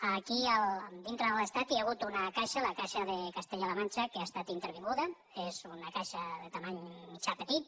aquí dintre de l’estat hi ha hagut una caixa la caixa de castella · la manxa que ha estat intervinguda és una caixa de mida mitjana·pe·tita